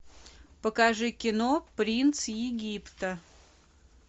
покажи кино принц египта